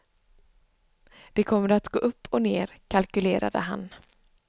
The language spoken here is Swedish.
Det kommer att gå upp och ner, kalkylerade han.